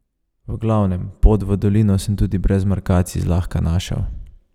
V glavnem, pot v dolino sem tudi brez markacij zlahka našel.